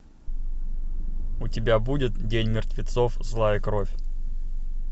у тебя будет день мертвецов злая кровь